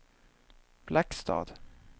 Blackstad